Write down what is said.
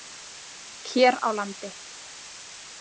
Hér á landi.